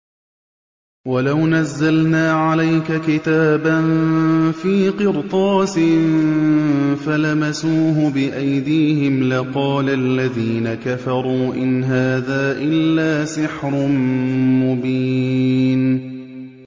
وَلَوْ نَزَّلْنَا عَلَيْكَ كِتَابًا فِي قِرْطَاسٍ فَلَمَسُوهُ بِأَيْدِيهِمْ لَقَالَ الَّذِينَ كَفَرُوا إِنْ هَٰذَا إِلَّا سِحْرٌ مُّبِينٌ